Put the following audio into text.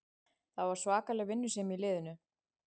Það var svakaleg vinnusemi í liðinu